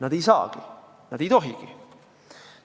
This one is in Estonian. Nad ei saagi seda teha, nad ei tohigi.